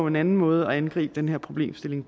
en anden måde at gribe den her problemstilling